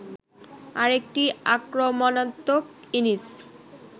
আরেকটি আক্রমণাত্মক ইনিস